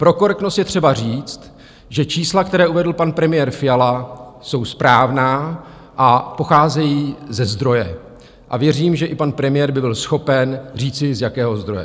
Pro korektnost je třeba říct, že čísla, která uvedl pan premiér Fiala, jsou správná a pocházejí ze zdroje, a věřím, že i pan premiér by byl schopen říci, z jakého zdroje.